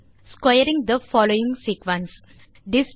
square the following sequence